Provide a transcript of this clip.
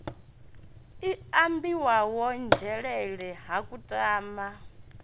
i ambiwaho nzhelele ha kutama